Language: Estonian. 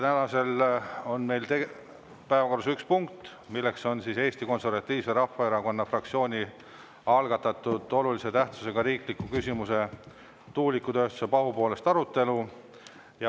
Täna on meil päevakorras üks punkt, milleks on Eesti Konservatiivse Rahvaerakonna fraktsiooni algatatud olulise tähtsusega riikliku küsimuse "Tuuletööstuse pahupoolest" arutelu.